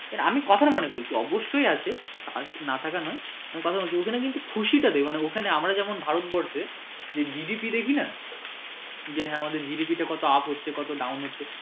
আমি কথার মানে বলছি অবশ্যই আছে না থাকা নয় কথা বলছি কিন্তু ওখানে কিন্তু খুশী টা দেখে মানে আমরা যেমন ভারতবর্ষে GDP দেখি যে হ্যাঁ আমাদের GDP টা কত up হচ্ছে কত down হচ্ছে।